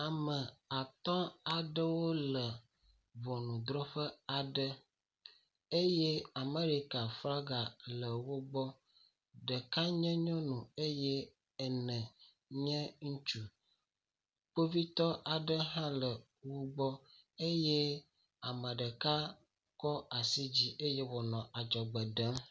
Ame atɔ̃ aɖewo le ŋɔnudrɔƒe aɖe eye Amɛrika flaga le wo gbɔ, Ɖeka nye nyɔnu eye ene nye ŋutsu, kpovitɔ aɖe hã le wo gbɔ eye ame ɖeka tsɔ asi dzi eye wònɔ adzɔgbe ɖem.